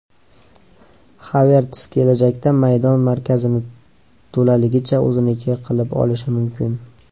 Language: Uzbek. Haverts kelajakda maydon markazini to‘laligicha o‘zinikini qilib olishi mumkin.